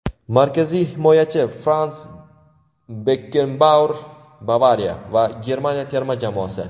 markaziy himoyachi Frans Bekkenbauer ("Bavariya" va Germaniya terma jamoasi);.